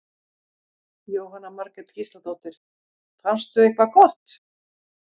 Jóhanna Margrét Gísladóttir: Fannstu eitthvað gott?